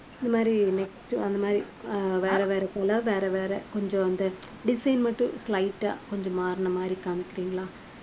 இந்த மாதிரி next அந்த மாதிரி அஹ் வேற வேற வேற வேற கொஞ்சம் வந்து design மட்டும் light ஆ கொஞ்சம் மாறின மாதிரி காமிக்கிறீங்களா